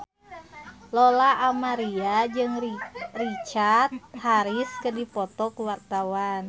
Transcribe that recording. Lola Amaria jeung Richard Harris keur dipoto ku wartawan